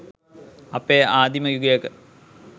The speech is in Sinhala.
අපේ ආදීම යුගයක